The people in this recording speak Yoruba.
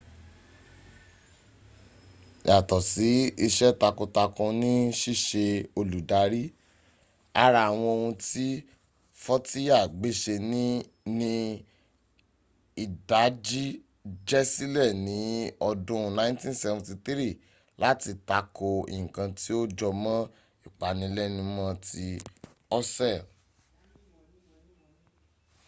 yàtọ̀ ise takun takun ni ṣíṣe olùdarí ara àwọn ohun tí fọ́tíyà gbéṣe ni ìdájíjẹsílẹ̀ ní ọdún 1973 láti takò nkan tí ó jọmọ́ ìpanilẹ́numọ́ ti òṣèl